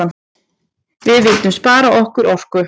Við vildum spara okkar orku.